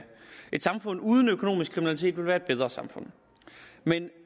et samfund uden økonomisk kriminalitet ville være et bedre samfund men